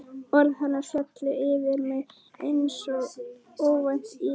Orð hennar féllu yfir mig einsog óvænt él.